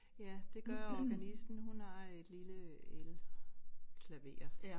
Ja det gør organisten hun har et lille elklaver